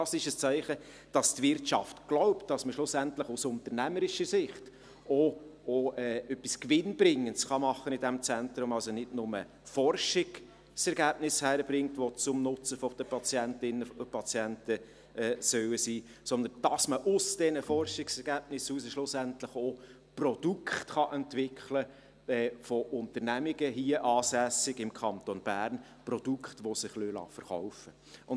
Dies ist ein Zeichen, dass die Wirtschaft glaubt, dass man schlussendlich aus unternehmerischer Sicht in diesem Zentrum auch etwas Gewinnbringendes machen kann, also nicht nur Forschungsergebnisse hinkriegt, welche zum Nutzen von Patientinnen und Patienten sein sollen, sondern dass man aus diesen Forschungsergebnissen heraus schlussendlich auch Produkte von im Kanton Bern ansässigen Unternehmungen entwickeln kann, welche sich verkaufen lassen.